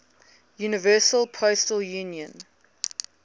universal postal union